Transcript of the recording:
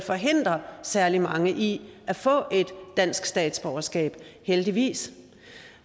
forhindre særlig mange i at få et dansk statsborgerskab heldigvis